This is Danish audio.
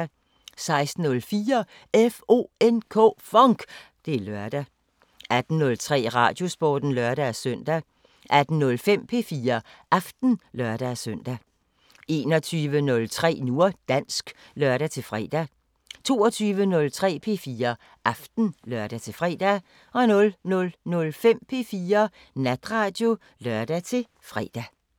16:04: FONK! Det er lørdag 18:03: Radiosporten (lør-søn) 18:05: P4 Aften (lør-søn) 21:03: Nu og dansk (lør-fre) 22:03: P4 Aften (lør-fre) 00:05: P4 Natradio (lør-fre)